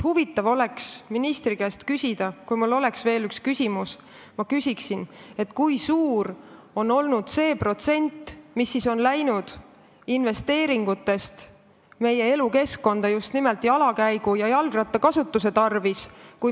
Huvitav oleks ministri käest küsida – kui mul oleks võimalik veel üks küsimus küsida –, kui suur on olnud see protsent, mis on investeeringutest läinud meie elukeskkonda just nimelt jala käimise ja jalgrattakasutuse tarvis.